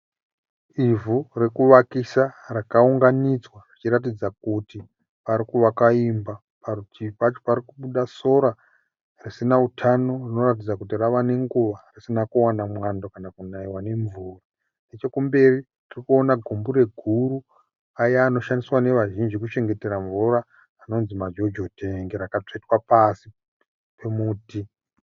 Ivhu rekuvakisa rakaunganidzwa rinoratidza kuti parikuvakwa imba. Parutivi pacho pari kubuda sora risina utano rinoratidza kuti rava nenguva risina kuwana mwando kana kunaiwa nemvura. Nechekumberi kuri kuoneka gumbure guru, aya anoshandiswa nevazhinji kuchengetera mvura anonzi majojo tengi, rakatsvetwa pasi pemuti.